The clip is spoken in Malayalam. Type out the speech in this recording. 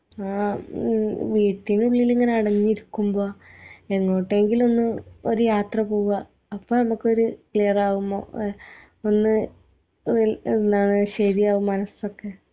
ആ ഈ വീട്ടിനുള്ളിൽ ഇങ്ങനെ അടങ്ങി ഇരിക്കുമ്പോ എങ്ങോട്ടെങ്കിലും ഒന്ന് ഒര് യാത്ര പോവാ അപ്പ നമ്മുക്കൊര് ക്ലീറാവുമോ ഒന്ന് ഒല് എന്താണ് ശരിയാവും മനസൊക്കെ